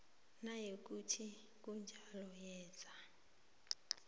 nayikuthi kunjalo yenza